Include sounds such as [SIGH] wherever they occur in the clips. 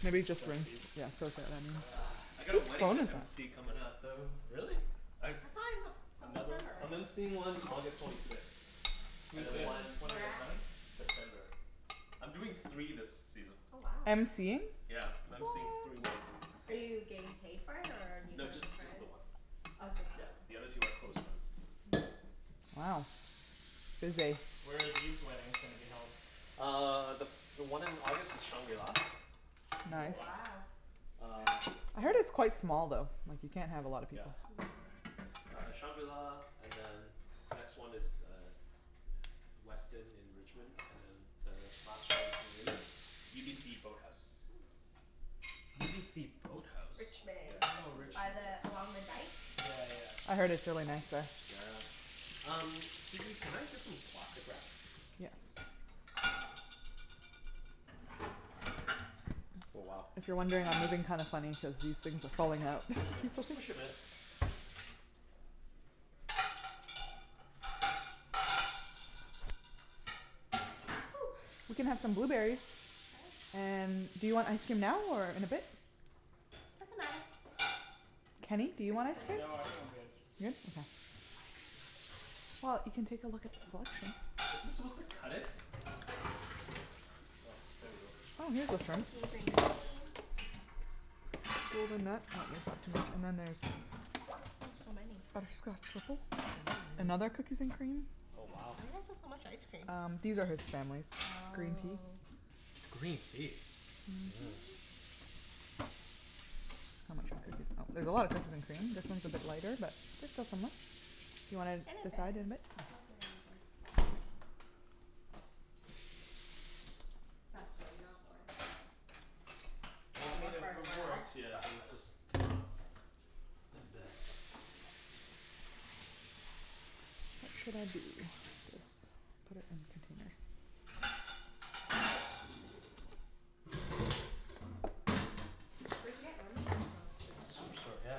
Should Maybe we just soak rinse, these? yeah soak that Ugh, I right got in. a Whose wedding phone to is MC comin' that? up, though. Really? I thought it was a, till September, I'm right? MCing one August twenty sixth, and Who's then this? one One Where of your at? friends? September. I'm doing three this season. Oh wow. MCing? Yeah, I'm MCing three weddings. Are you getting paid for it or are you No, doing it just, for just the friends? one. Oh just Yeah, that one. the other two are close friends. Wow. Busy. Where are these weddings gonna be held? Uh the, the one in August is shangri-la. Mm Nice. wow. Uh I heard it's quite small though, like you can't have a lot of Yeah. people. Uh shangri-la and then next one is uh Westin in Richmond and then uh last one is UBC boathouse. UBC boathouse? Yeah, Richmond. it's Oh in By Richmond, yes. the, along the Rich- dike? Yeah yeah. I heard it's really nice there. Yeah. Um, Susie, can I get some plastic wrap? Yes. Oh wow. If you're wondering, I'm moving kinda funny cuz these things are falling out. Here, just push'em in. We can have some Woo! blueberries. And do you want ice cream now or in a bit? Doesn't matter. Kenny, do I you want ice can wait. cream? No, I think I'm good. Good? Okay. Well, you can take a look at the Is this supposed selection. to cut it? Oh, there we go. Oh here's the shrimp. Cookies n cream. And then there's Oh so many Butterscotch maple? Another cookies n cream Oh wow. Why do you guys have so much ice cream Um these are his family's. Green tea. Oh. Green tea? Whoa. I'ma try this. Oh, there's a lot of cookies n cream, this one's a bit lighter but there's still so much. You wanna In a bit, decide in a bit? I'll do it in a bit. What's that plate out for? Oh, it Well, I doesn't mean it work wor- very it well. works yeah, it was just not the best. Where should I be, just put it in the containers. Where d'you get lemongrass from, Superstore? Superstore, yeah.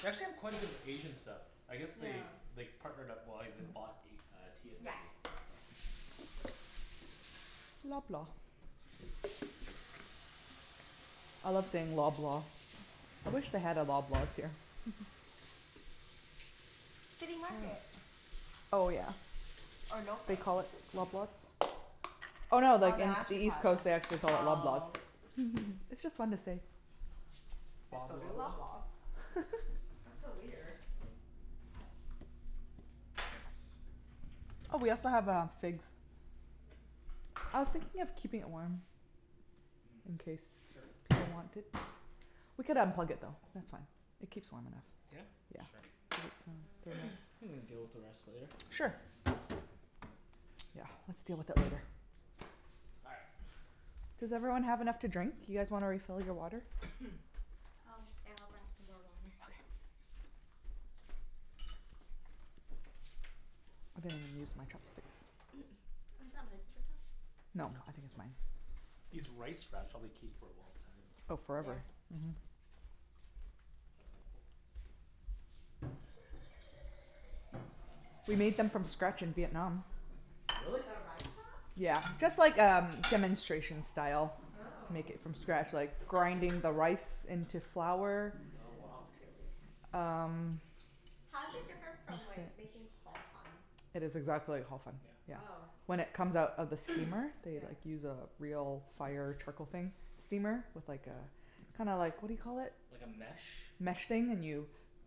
They actually have quite a bit of Asian stuff. I guess they they partnered up, well, they bought a uh T&T. Yeah, yeah. Loblaw. I love saying Loblaw. I wish they had a Loblaws here. City Market. Oh yeah. Or No They Frills. call it Loblaws? Oh Oh no they, no in actually East Coast they actually [INAUDIBLE] call it Loblaws Oh. It's just fun to say. Let's go to Loblaws. That's so weird. Oh we also have uh figs. I was thinking of keeping it warm in case people want it. We could unplug it though, that's fine. It keeps warm Yeah? enough. Yeah. Sure Think we can deal with the rest later. Sure. Yeah, let's deal with it later. All right. Does everyone have enough to drink? You guys wanna refill your water? Oh, yeah I'll grab some more water. Okay. I didn't use my chopsticks. [NOISE] Oh, is that my paper towel? No I think it's mine. These rice wraps probably keep for a long time. Oh Yeah. forever. Mhm. We made them from scratch in Vietnam. Really? The rice wraps? Yeah, just like um demonstration style. They Oh. make it from scratch like the grinding the rice into flour Oh It's wow. crazy. Um How's it different from like making Ho Fun? It's exactly like Ho Fun, Yeah. yeah. Oh. When it comes out of the steamer, they like use a real fire trickle thing steamer? With like a, kinda like what do you call it? Like a mesh? Mesh thing, and you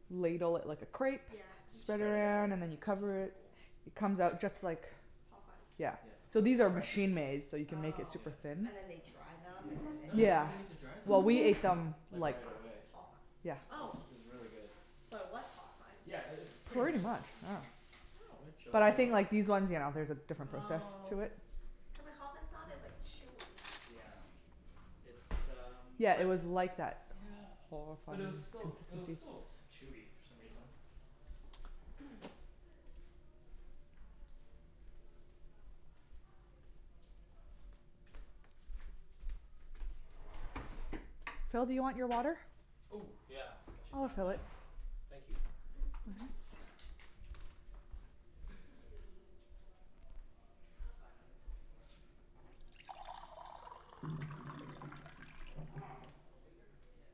ladle it like a crepe Yeah Spread it around and then you That's cover pretty it, cool it comes out just like Ho Fun? Yeah. So these are machine-made so you can make it Oh. super thin. And then they dry them and then No, you they? don't Yeah. even need to dry them. Well we ate them Like like right away. Ho fun. Yeah It was, Oh. it was really good. So it was Ho Fun. Yeah, it, it's pretty much Pretty like Ho much, yeah. Fun. But Oh. I think like these ones yeah there's a different process Oh. to it. Cuz like Ho Fun's not as like chewy. Yeah, it's um Yeah it was like that Ho Fun But it was still, it was consistency still chewy for some reason. Phil, do you want your water? Oh yeah, I should I'll grab fill it. that Thank you. Should we pull up Ah, that's fine. I can sit on the floor. It's called Elevator? Yeah.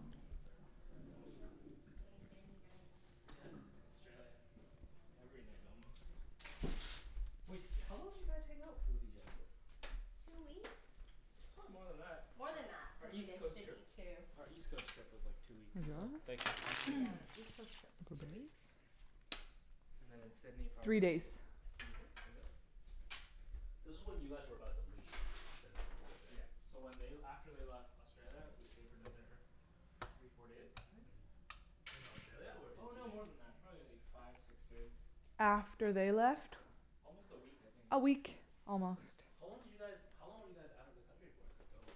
Let's see if I remember how to Played this explain game it. many nights Yeah, in Australia. Every night almost. Wait, how long did you guys hang out with each other for? Two weeks? Probably more than that. More than that. Our Cuz we East did Coast trip Sydney too. Our East Coast trip was like two weeks Here you go. Thank you. Yeah. East Coast trip was two weeks. And then in Sydney Three days. probably Three days? Was it? This is when you guys were about to leave Sydney for good, Yeah, so right? when they l- after they left Australia, we stayed for another f- three, four days, I think? Mhm. In Australia or in Oh no, Sydney? more than that. Probably like five, six days. After they left? Almost a week I think. A week, almost. How long did you guys, how long were you guys out of the country for then, total?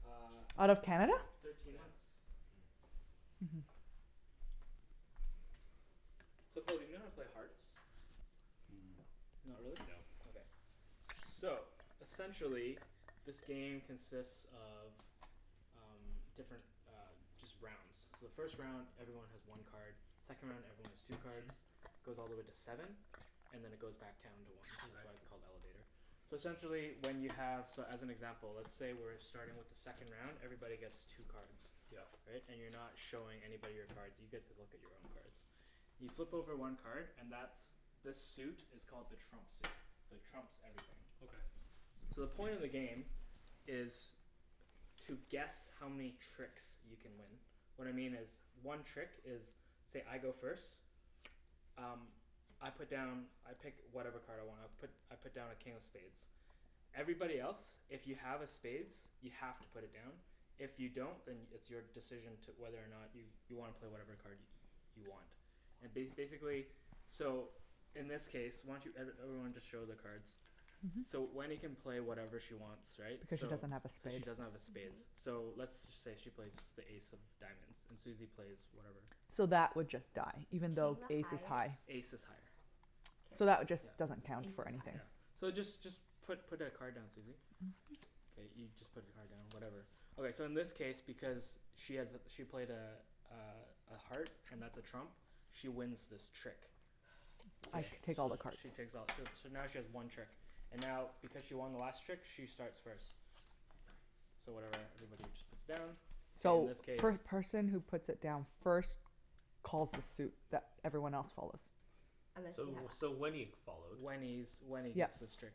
Uh Out of Canada? Thirteen months. So Phil do you know how to play Hearts? Mm. Not really? No. Okay. So essentially, this game consists of um different uh, just rounds. So the first round everyone has one card, second round everyone has two cards, goes all the way to seven, and then it goes back down to one. That's Okay. why it's called Elevator. So essentially when you have, so as an example let's say we're starting with the second round, everybody gets two cards. Yep. Right? And you're not showing anybody your cards. You get to look at your own cards. You flip over one card and that's, the suit is called the trump suit, so it trumps everything. Okay. So the point of the game is to guess how many tricks you can win. What I mean is one trick is say, I go first, um I put down I pick whatever card I want, I put I put down a King of Spades. Everybody else if you have a spades, you have to put it down, if you don't then it's your decision to, whether or not you you wanna play whatever card you want. And ba- basically so in this case, why don't you, every everyone just show their cards. So Wenny can play whatever she wants right, Cuz she so. doesn't have a Cuz she spade. doesn't have a spades. So let's say she plays the ace of diamonds, and Susie plays whatever. So that would just die, Is even though king the Ace is high. highest? Ace is higher. So that would K. just, doesn't count Ace for is anything. higher. So just just put put a card down, Susie. K, you just put your card down whatever. Okay so in this case because she has a, she played a uh a heart and that's a trump, she wins this trick. I Okay. So take all the cards. she takes all too, so now she has one trick, and now because she won the last trick, she starts first. So whatever everybody just puts down, so in So this case first person who puts it down first calls a suit that everyone else follows. So, so Wenny followed. Wenny's, Wenny gets this trick.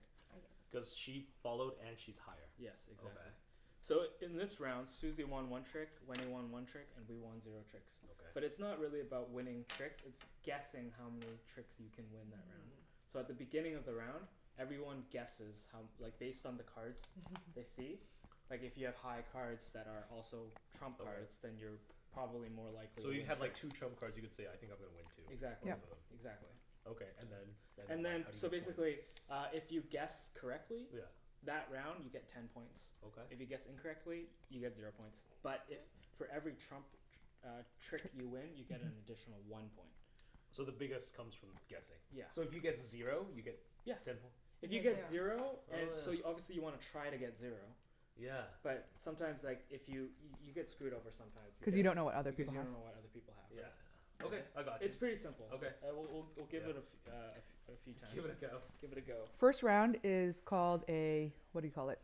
Cuz she followed and she's higher. Yes, exactly. Okay. So in this round Susie won one trick, Wenny won one trick and we won zero tricks. But it's Okay. not really about winning tricks, it's guessing how many tricks you can win that round. So at the beginning of the round, everyone guesses how, like based on the cards they see. Like if you have high cards that are also trump cards. Then Okay. you're p- probably more likely to So you win have like tricks. two trump cards, you could say, I think I'm gonna win two. Exactly. Both Yep. of them. Exactly. Okay, and then, then And what? then How do you so get points? basically uh if you guess correctly Yeah. That round you get ten points. Okay. If you guess incorrectly, you get zero points, but if for every trump tr- uh trick you win you get an additional one point. So the biggest comes from guessing. Yeah. So if you get zero you get Yeah. Ten poi If you get zero Oh So you, yeah. obviously you wanna try to get zero. Yeah. But sometimes like, if you, you get screwed over sometimes Cu you because don't know what other Because people you have don't know what other people have, Yeah, right? yeah. Okay, I got you. It's pretty simple. Okay. All right, we'll we'll we'll give it a fe- uh a f- uh a few times. Give it a go. Give it a go. First round is called a what do you call it.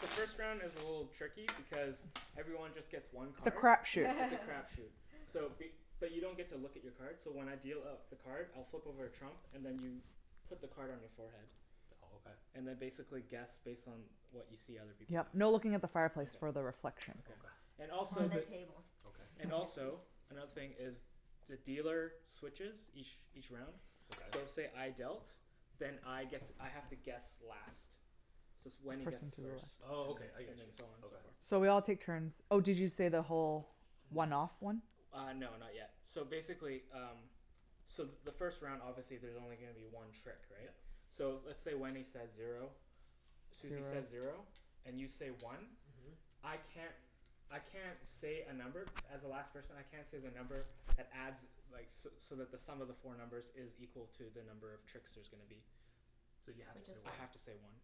The first round is a little tricky because everyone just gets one It's a card. crap shoot. It's a crap [LAUGHS] shoot. So be- but you don't get to look at your card, so when I deal out the card, I'll flip over a trump and then you put the card on your forehead. Oh okay. And then basically guess based on what you see other people have. Yep, no looking at the fireplace for the reflection. Okay. And Or also the the- table. Okay. And also, another thing is the dealer switches each each round. So Okay. say I dealt, then I get to, I have to guess last. So it's, Wenny guesses first. Oh okay, I And get then, you. and so on and so forth. So we all take turns. Oh did you say the whole one off one? Uh no, not yet. So basically um, so the first round obviously there's only gonna be one trick, right? Yep. So let's say Wenny says zero, Susie says zero, and you say one. Mhm. I can't, I can't say a number, as the last person I can't say the number that adds like so so that the sum of the four numbers is equal to the number of tricks there's gonna be. So you have to say I one. have to say one.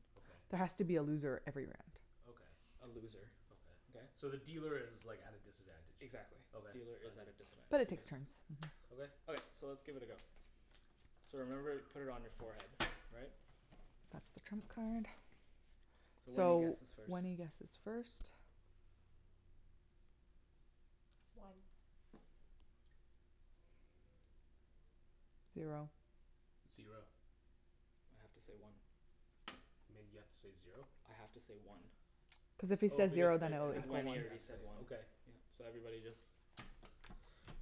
There Okay. has to be a loser every round. Okay. A loser. Okay? Okay. So the dealer is like at a disadvantage. Exactly. Okay. Dealer is at a But it disadvantage. takes turns. [INAUDIBLE] Okay. Okay, so let's give it a go. So remember put it on your forehead, all right? That's the trump card. So Wenny So guesses first. Wenny guesses first. One. Zero. Zero. I have to say one. You mean you have to say zero? I have to say one. Cuz if he Oh says because zero then it, it Because [INAUDIBLE] adds Wenny one. already up to said [INAUDIBLE] one. okay. Yeah, so everybody just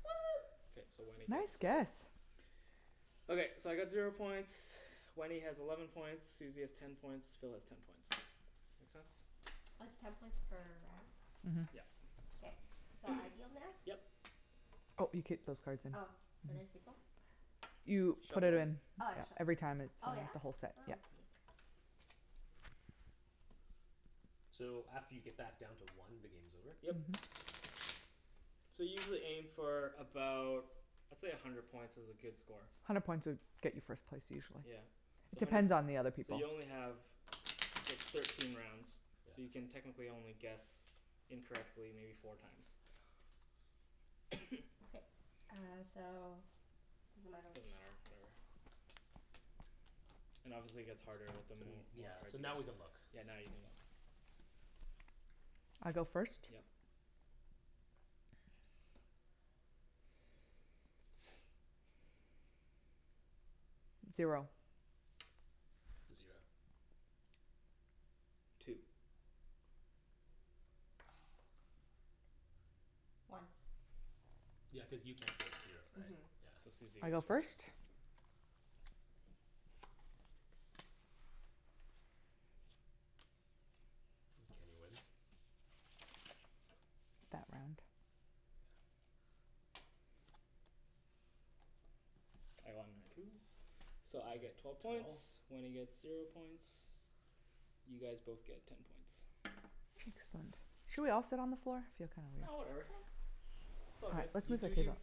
One! K, so Wenny Nice gets guess! [INAUDIBLE] Okay, so I got zero points, Wenny has eleven points, Susie has ten points, Phil has ten points. Makes sense? It's ten points per round? Mhm. Yep. Okay. So I deal now? Yep. Oh you keep those cards in, Oh where do I mhm. keep em? You put it Shuffle'em. in. Oh I shuff- Every time it's oh from yeah? the whole set, yeah. So after you get back down to one, the game's over? Yep. So usually aim for about, let's say a hundred points is a good score. Hundred points would get you first place usually. Yeah. So hundred Depends p- on the other So people you only have thir- thirteen rounds So you can Yeah. technically only guess incorrectly maybe four times. Okay. Uh so does it matter which Doesn't matter, whatever. And obviously gets harder with the more, Yeah, more cards so you now we can look. get. Yeah, now you can look I go first? Yep. Zero. Zero. Two. One. Yeah, cuz you can't say zero, right? Mhm So Susie I go goes first? first Kenny wins? I won my two. So I get twelve points, Wenny gets zero points, you guys both get ten points. Excellent. Should we all sit on the floor? No whatever, it's all good. You do you.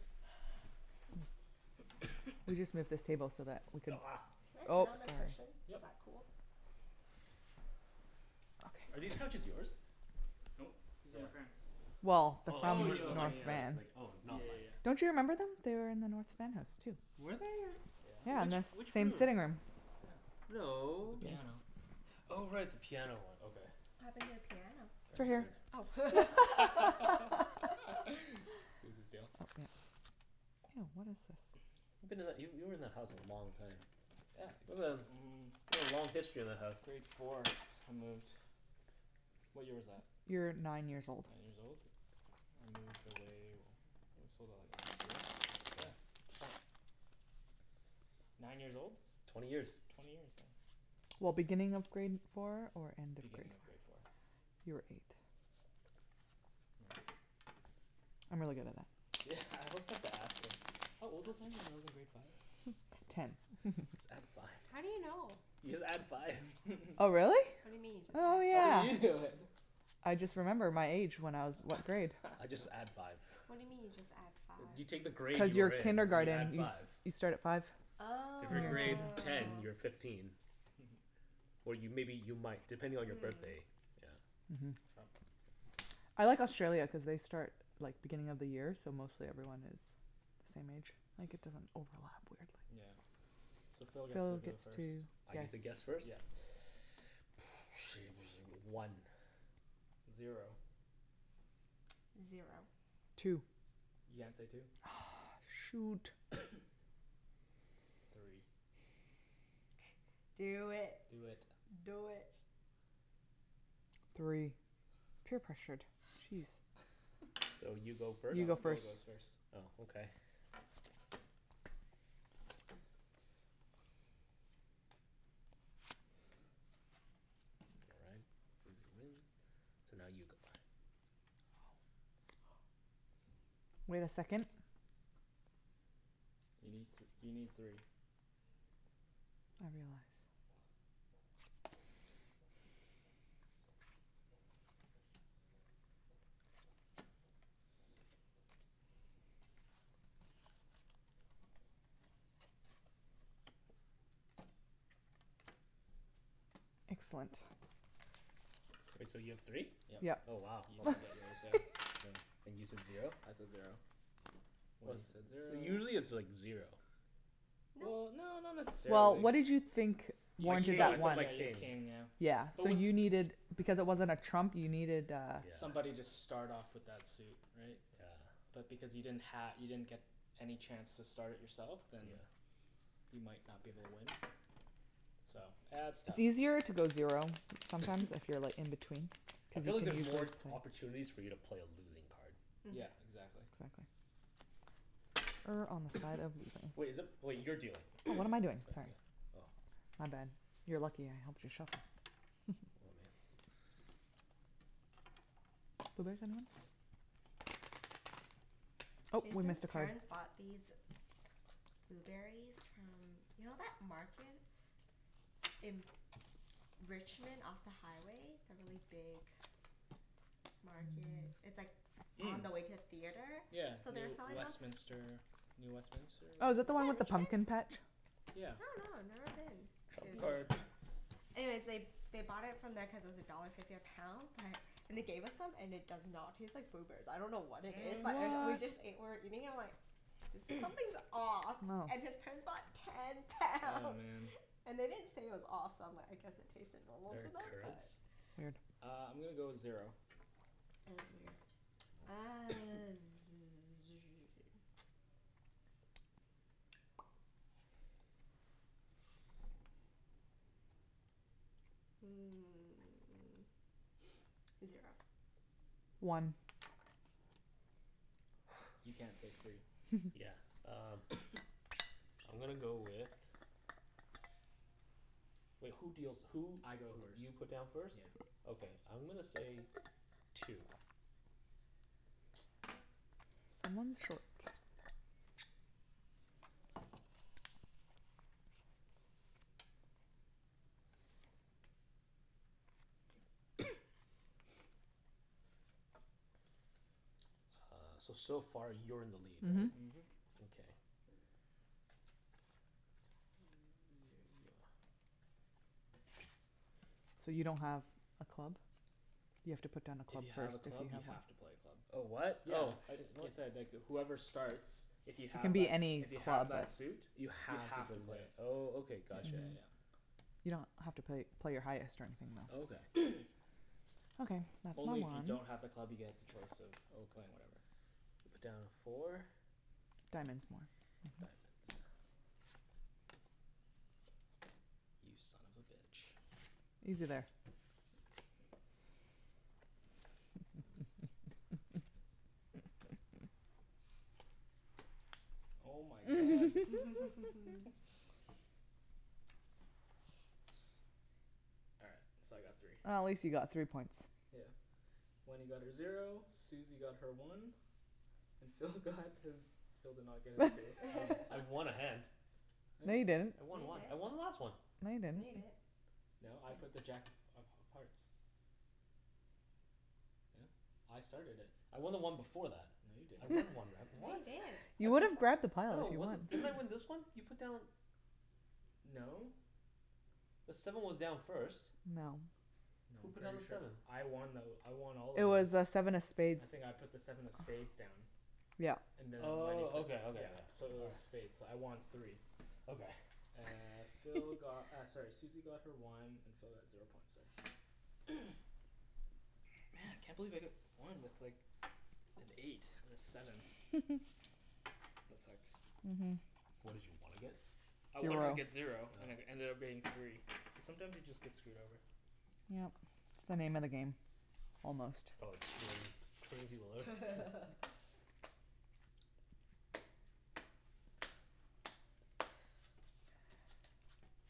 We'll just move this table so that we could Can I sit on the cushion? Yep Is that cool? Are these couches yours? Nope, these are my parents'. Well, they're Oh like Oh from yours yeah are ok North like yeah. like Van. like oh Yeah not like yeah yeah. Don't you remember them? They are in the North Van house too. Were they? Yeah, Which, and the Yeah. which same room? sitting room. Yeah. With No. the piano. Oh right. The piano one, okay. What happened to the piano? It's It's right right over Oh here. here. [LAUGHS] [LAUGHS] Susie's deal. Oh what is this. You've been that, you, you were in that house for a long time. Yeah, mm. You've got a long history in that house. Grade four, I moved. What year was that? You were nine Nine years years old. old? I moved away, we sold it like last year? Yeah. Twen- nine years old? Twenty years. Twenty years, yeah. Well, beginning of grade four or end of grade Beginning of four? grade four. You were eight. Yeah. I'm really good at that. Yeah, I always have to ask her. How old was I? When I was in grade five? Ten. [LAUGHS] Just add five. How do you know? You just add five. Oh [LAUGHS] really? What do you mean, Oh just oh add How yeah. you five? do know then? I just remember my age when I was what grade I just add [LAUGHS] five. What do you mean you just add five? You take the grade Cuz your you're in, and you add kindergarten you s- five. you start at five So if you're grade Oh. ten, you're fifteen. Or you, maybe you might, depending on your Mm. birthday. Trump. I like Australia cuz they start like, beginning of the year so mostly everyone has the same age. Like it doesn't overlap weirdly. Yeah, so Phil gets to go first. I get to guess first? Yeah. One Zero Zero Two You can't say two. Ugh shoot! Three. Do it. Do it. Do it. Three. Peer pressured, geez. So you go first? You No, go Phil first goes first. Oh okay. All right, Susie win, so now you go. Wait a second. You need th- you need three. Excellent. K, so you have three? Yep. Yep. Oh wow. You're gonna get yours now. And you said zero? I said zero. Wenny said So zero usually it's like zero. Well, no not Well, necessarily what did you think My [INAUDIBLE] king, I that thought one. my king. Yeah. So you needed, because it wasn't a trump you needed uh Somebody just start off with that suit, right? Yeah. But because you didn't ha- you didn't get any chance to start it yourself then you might not be able to win. So, yeah it's It's tough. easier to go zero, sometimes if you're like in between. I feel like there's more opportunities for you to play a losing card. Yeah, Mhm. exactly. Exactly. Wait, is it, wait, you're dealing. What am I doing, sorry. Oh My bad. You are lucky I helped you shuffle. Jason's parents bought these blueberries from, you know that market in Richmond off the highway, the really big market, it's like on the way to a theatre? Yeah So they were Near selling them Westminister, New Westminister Oh is whatever that the one with the pumpkin patch I Yeah. dunno, I've never been. Trump card. Yeah. Anyways they, they bought it from there cuz it was a dollar fifty a pound but, and they gave us some and it does not taste like blueberries, I dunno what it is But it, What? we What? just ate, we're eating and we're like, there's, something's off. Oh. And his parents bought ten Oh pounds. man And they didn't say it was off so I'm like I guess it tasted normal to They're them? currants? Uh, I'm gonna go zero. Yeah, it was weird. Uh [NOISE] hmm zero. One You can't say three Yeah, um. I'm gonna go with, wait who deals who I go first. You put down first? Yeah. Okay I'm gonna say two. Uh, so so far you're in the lead, right? Mhm. Mhm. Okay. So you don't have a club? You have to put down a If club you have first. a club you have to play a club. Oh what? Yeah, Oh. I, [INAUDIBLE] whoever starts, if you It can have be that, any if you have club. that suit You You have to have to play play it, it. oh Okay, Yeah got you. yeah yeah. You don't have to play, play your highest or anything though. Okay. Only if you don't have a club you get the choice of playing whatever. You put down four. Diamonds more Diamonds You son of a bitch. Easy there. Oh my god. [LAUGHS] [LAUGHS] All right, so I got three. Oh at least you got three points. Yeah. Wenny got her zero, Susie got her one, and Phil got his, Phil did not get his two. I w- I [LAUGHS] won a hand No, you didn't I No, won you one. I didn't won the last one! No, you No, you didn't didn't No, I put the jack of of of hearts. Yeah, I started it. I won the one before that. No, you I didn't. won one round, No, what? you didn't You would've grabbed the No, pile. it wasn't, didn't I win this one? You put down No. The seven was down first. No. No, Who I'm put down pretty the sure seven? I won though, I won all of It those. was uh seven of spades I think I put the seven of spades down. Yeah. And Wenny Oh put Okay, okay, yeah yeah. So it was spades, so I won three Okay. Uh, Phil got uh sorry Susie got her one, and Phil got zero points there. [NOISE] Man! Can't believe I got one with like an eight and a seven. [LAUGHS] That sucks. Mhm. What did you wanna get? I wanted to get Zero. zero, and it ended up being three. So sometimes you just get screwed over. Yeah. It's the name of the game, almost. Oh, it's pretty, pretty low. [LAUGHS]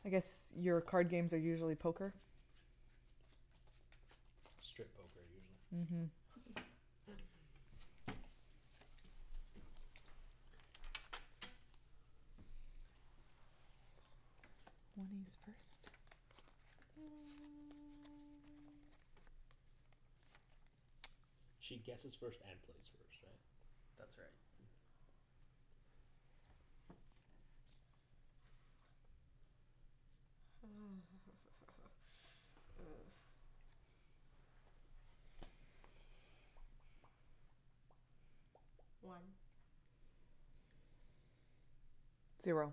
I guess your card games are usually poker? Strip poker, usually. Mhm She guesses first and plays first, right? That's right. [NOISE] One. Zero.